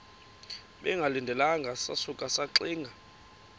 bengalindelanga sasuka saxinga